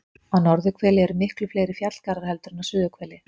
Á norðurhveli eru miklu fleiri fjallgarðar heldur en á suðurhveli.